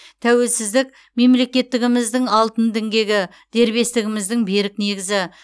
тәуелсіздік мемлекеттігіміздің алтын діңгегі дербестігіміздің берік негізі